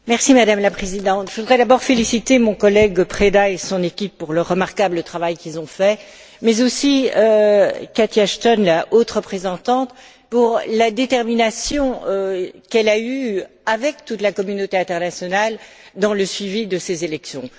Madame la Présidente, je voudrais d'abord féliciter mon collègue Preda et son équipe pour le remarquable travail qu'ils ont fait, mais aussi Catherine Ashton, la haute représentante, pour la détermination dont elle a fait preuve avec toute la communauté internationale dans le suivi de ces élections.